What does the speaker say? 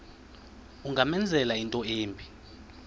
ungamenzela into embi